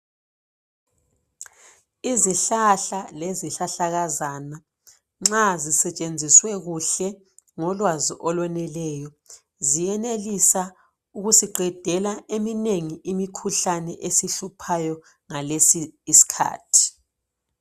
Izihlahla lezihlahlakazana nxa zisetshenziswe kuhle ngolwazi olweneleyo ziyenelisa ukusiqedela eminengi imikhuhlane esihluphayo ngalesi iskhathi